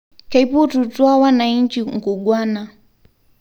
Keipotutua wanainji nkungwana